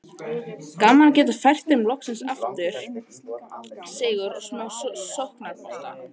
Gaman að geta fært þeim loksins aftur sigur og smá sóknarbolta!